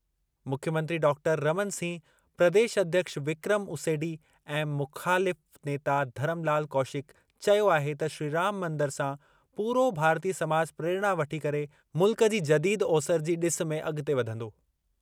मुख्यमंत्री डॉक्टर रमन सिंह, प्रदेश अध्यक्ष विक्रम उसेंडी ऐं मुख़ालिफ़ नेता धरमलाल कौशिक चयो आहे त श्रीराम मंदिर सां पूरो भारतीय समाज प्रेरणा वठी करे मुल्क जी जदीद ओसरि जी ॾिस में अॻिते वधंदो।